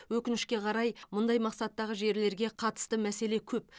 өкінішке қарай мұндай мақсаттағы жерлерге қатысы мәселе көп